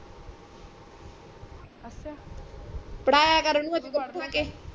ਪੜਾਯਾ ਕਰ ਉਨੂੰ